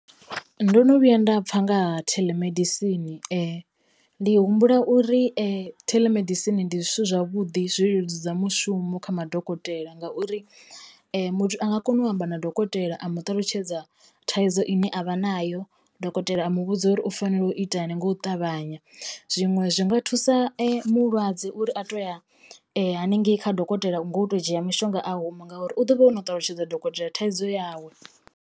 Ndo no vhuya nda pfha nga ha theḽemedisini ndi humbula uri telemedicine ndi zwithu zwavhuḓi zwi leludza mushumo kha madokotela ngauri muthu a nga kona u amba na dokotela a muṱalutshedza thaidzo ine avha nayo dokotela a muvhudza uri u fanela u ita hani nga u ṱavhanya. Zwiṅwe zwi nga thusa mulwadze uri a to ya haningei kha dokotela ngo to dzhia mushonga a huma ngauri u ḓovha ono ṱalutshedza dokotela thaidzo yawe.